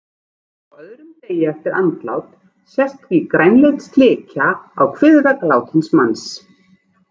Á öðrum degi eftir andlát sést því grænleit slikja á kviðvegg látins manns.